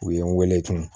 U ye n wele tun